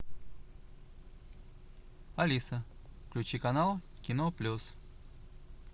алиса включи канал кино плюс